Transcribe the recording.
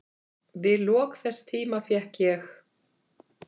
Við lok þess tíma fékk ég